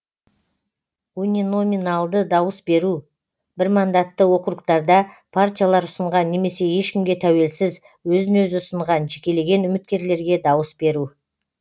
униноминалды дауыс беру бірмандатты округтарда партиялар ұсынған немесе ешкімге тәуелсіз өзін өзі ұсынған жекелеген үміткерлерге дауыс беру